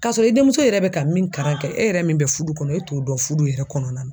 K'a sɔrɔ i denmuso yɛrɛ bɛ ka min karan kɛ e yɛrɛ min bɛ fudu kɔnɔ, e t'o dɔn fudu yɛrɛ kɔnɔna na.